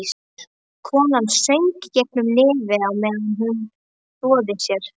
Konan söng gegnum nefið á meðan hún þvoði sér.